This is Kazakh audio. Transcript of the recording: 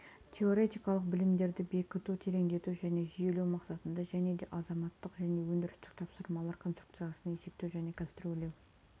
теоретикалық білімдерді бекіту тереңдету және жүйелеу мақсатында және де азаматтық және өндірістік тапсырмалар конструкциясын есептеу және конструирлеу